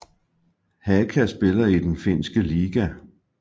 Haka spiller i den finske liga